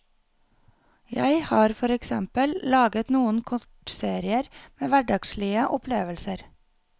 Jeg har for eksempel laget noen kortserier med hverdagslige opplevelser.